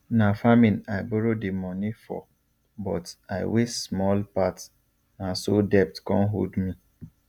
na farming i borrow the money for but i waste small part na so debt come hold me